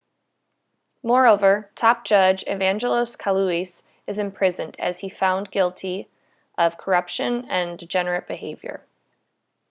moreover top judge evangelos kalousis is imprisoned as he found guilty of corruption and degenerate behaviour